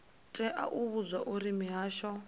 tea u vhudzwa uri mihasho